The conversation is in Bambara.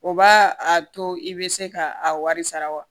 O b'a a to i bɛ se ka a wari sara wa